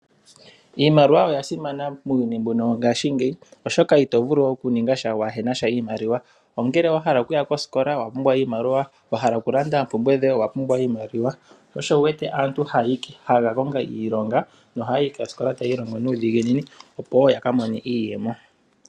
Iimaliwa oya simana muuyuni mbuno wongaashingeyi, oshoka ito vulu oku ningasha kuuna iimaliwa ongele owa hala okuya kosikola owa pumbwa iimaliwa, wa hala okulanda oompumbwe dhoye owa pumbwa iimaliwa ,sho osho wu wete aantu haya kakonga iilonga noha yayi koosikola taya ilongo nuudhiginini opo wo ya kamone iiyemo.